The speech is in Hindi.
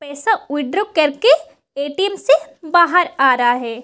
पैसा विथड्रा करके ए.टी.एम. से बाहर आ रहा है।